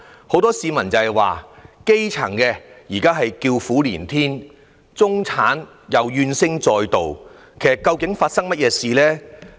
很多市民表示，基層現在叫苦連天，中產怨聲載道，究竟出了甚麼問題？